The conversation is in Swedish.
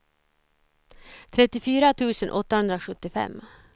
trettiofyra tusen åttahundrasjuttiofem